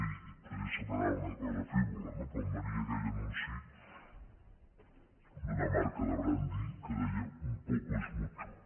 i potser semblarà una cosa frívola no però em venia aquell anunci d’una marca de brandi que deia un poco es mucho